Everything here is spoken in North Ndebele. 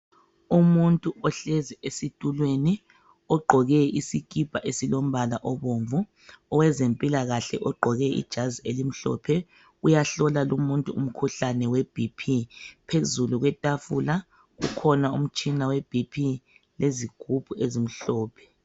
Umuntu ohlezi esitulweni ogqoke isikipa esilo mbala obomvu oweze mpilakahle ogqoke ijazi elimhlophe uyahlola lumuntu umkhuhlane we bp phezulu kwetafula kukhona umtshina webp lezigubhu ezimhlophe.